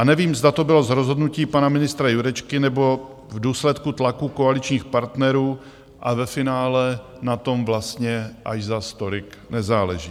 A nevím, zda to bylo z rozhodnutí pana ministra Jurečky nebo v důsledku tlaku koaličních partnerů a ve finále na tom vlastně až zas tolik nezáleží.